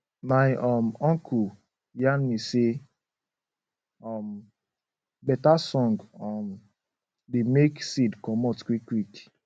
my um uncle yan me say um better song um dey make seed comot quick quick